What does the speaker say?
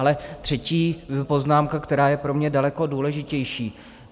Ale třetí poznámka, která je pro mě daleko důležitější.